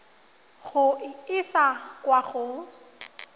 go e isa kwa go